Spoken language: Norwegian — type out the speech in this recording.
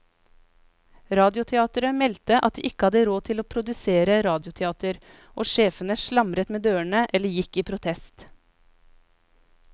Radioteateret meldte at de ikke hadde råd til å produsere radioteater, og sjefene slamret med dørene eller gikk i protest.